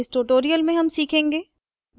इस tutorial में हम सीखेंगे